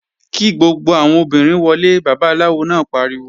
Kí gbogbo àwọn obìnrin wọlé! Babaláwo náà pariwo!